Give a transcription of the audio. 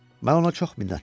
Mən ona çox minnətdaram.